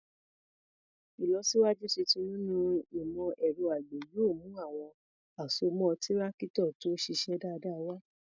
Ìlọsíwájú tuntun nínú ìmọ̀ ẹ̀rọ àgbẹ̀ yóò mú àwọn àsomọ́ Tírákítọ̀ tó ṣiṣẹ́ dáadáa wá.